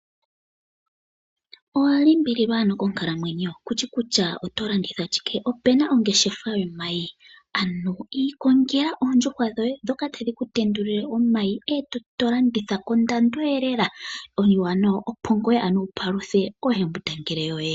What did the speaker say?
Owalimbililwa ano konkalamwenyo kushi kutya otolanditha shikee? opena ongeshefa yomayi ano ikongela oondjuhwa dhoye dhoka tadhikutendulile omayi etolanditha kondando elela opongaa wupaluthe oohembundangele yoye.